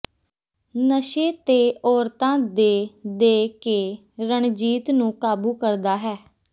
ਨਸ਼ੇ ਤੇ ਔਰਤਾਂ ਦੇ ਦੇ ਕੇ ਰਣਜੀਤ ਨੂੰ ਕਾਬੂ ਕਰਦਾ ਹੈ